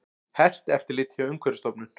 Hert eftirlit hjá Umhverfisstofnun